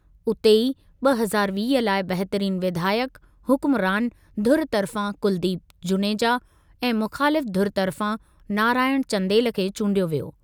उते ई, ॿ हज़ार वीह लाइ बहितरीन विधायक हुकुमरान धुरि तर्फ़ा कुलदीप जुनेजा ऐं मुख़ालिफ़ धुरि तर्फ़ा नारायण चंदेल खे चूंडियो वियो।